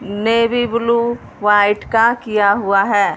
Navy blue white का किया हुआ हैं।